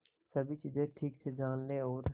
सभी चीजें ठीक से जान ले और